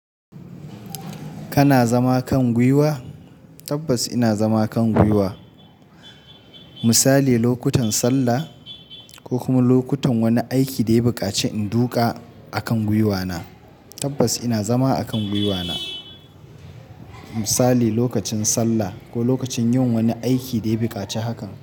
Kana zama kan gwiwa? Tabbas ina zama kan gwiwa. Misali lokutan sallah ko kuma lokutan wani aiki daya buƙaci in duka akan gwiwa na. Tabbas ina zama akan gwiwa na misali lokacin sallah ko lokacin yin wani aiki daya buƙaci hakan.